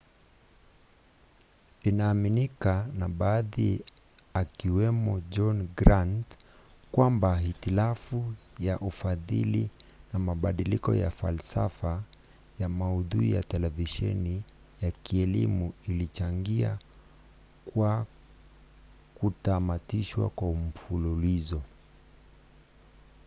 inaaminika na baadhi akiwemo john grant kwamba hitilafu ya ufadhili na mabadiliko ya falsafa ya maudhui ya televisheni ya kielimu ilichangia kwa kutamatishwa kwa mfululizo